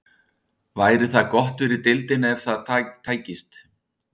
Væri það gott fyrir deildina ef það tækist?